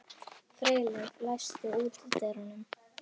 Freyleif, læstu útidyrunum.